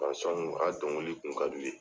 a ka dɔnkili kun ka d'u ye.